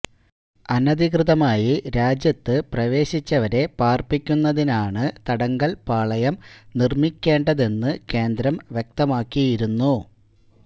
അനധികൃതമായി രാജ്യത്ത് പ്രവേശിച്ചവരെ പാർപ്പിക്കുന്നതിനാണ് തടങ്കൽ പാളയം നിർമിക്കേണ്ടതെന്ന് കേന്ദ്രം വ്യക്തമാക്കിയിരുന്നു